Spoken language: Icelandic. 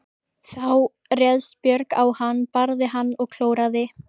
Þá réðst Björg á hann, barði hann og klóraði.